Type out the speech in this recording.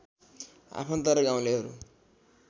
आफन्त र गाउँलेहरू